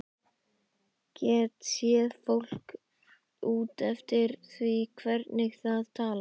Get séð fólk út eftir því hvernig það talar.